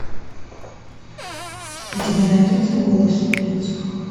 у тебя найдется голос улиц